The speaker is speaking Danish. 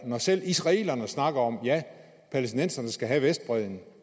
når selv israelerne snakker om at ja palæstinenserne skal have vestbredden